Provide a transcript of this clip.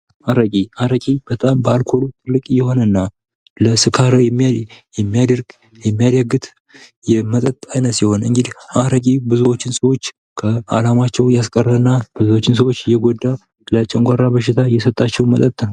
አረቂ አረቂ፦ በጣም በአልኮል ትልቅ የሆነ እና ለስካር የሚዳርግ እና የሚያዳግት የመጠጥ አይነት ሲሆን አረቂ ብዙዎችን ከአላማቸው እያስቀረና ብዙዎችን ሰዎች እየጎዳ ለጨጓራ በሽታ የሰጣቸው መጠጥ ነው።